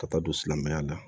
Ka taa don silamɛya la